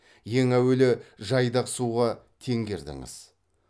ең әуелі жайдақ суға теңгердіңіз